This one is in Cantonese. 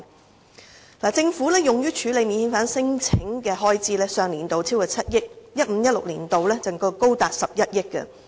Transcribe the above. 政府在上年度用於處理免遣返聲請的開支便超過7億元，而 2015-2016 年度更高達11億元。